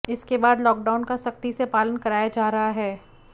इसके बाद लॉकडाउन का सख्ती से पालन कराया जा रहा है